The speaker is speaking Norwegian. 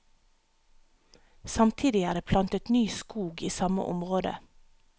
Samtidig er det plantet ny skog i samme område.